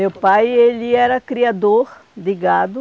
Meu pai, ele era criador de gado.